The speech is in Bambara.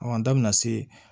an da bɛna se